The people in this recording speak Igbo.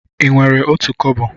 Ị nwere otu kobo?